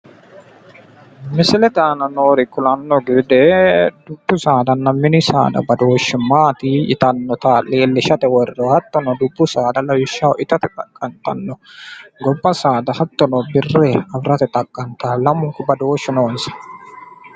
misilete aana noori kulanno gede dubbu saadanna mini saada badooshshi maati yaannoha leelishate worroonni hattono mini saada gobba saada birre afirate xaqqantanno lamunku badooshu noonsa.